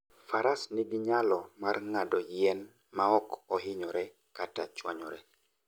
Faras nigi nyalo mar ng'ado yien maok ohinyore kata chwanyore.